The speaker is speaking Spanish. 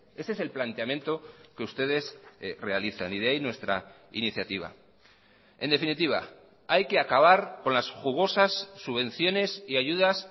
ese es el planteamiento que ustedes realizan y de ahí nuestra iniciativa en definitiva hay que acabar con las jugosas subvenciones y ayudas